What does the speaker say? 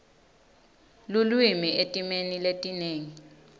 lulwimi etimeni letinengi